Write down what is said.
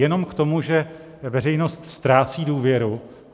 Jenom k tomu, že veřejnost ztrácí důvěru.